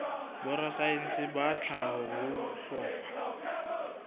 borasaense ba tlhaho ho hlokwa